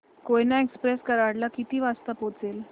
Koyna express Karad ला किती वाजता पोहचेल